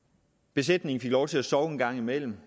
besætningen fik lov til at sove en gang imellem